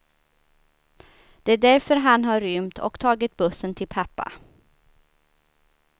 Det är därför han har rymt, och tagit bussen till pappa.